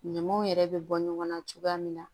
Ɲamaw yɛrɛ bɛ bɔ ɲɔgɔn na cogoya min na